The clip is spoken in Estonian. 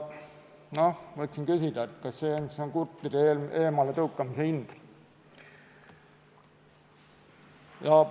Võiksin küsida, et kas see on siis kurtide eemaletõukamise hind.